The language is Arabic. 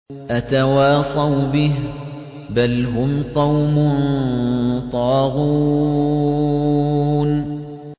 أَتَوَاصَوْا بِهِ ۚ بَلْ هُمْ قَوْمٌ طَاغُونَ